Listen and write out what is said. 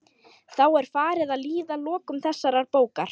Þá er farið að líða að lokum þessarar bókar.